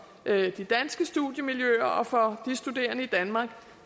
de danske studiemiljøer og for de studerende i danmark